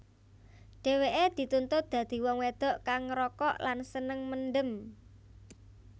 Dheweke dituntut dadi wong wedok kang ngrokok lan seneng mendem